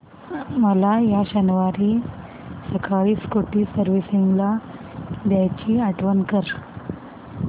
मला या शनिवारी सकाळी स्कूटी सर्व्हिसिंगला द्यायची आठवण कर